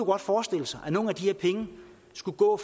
godt forestille sig at nogle af de her penge skulle gå